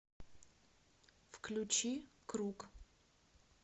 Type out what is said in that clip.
включи круг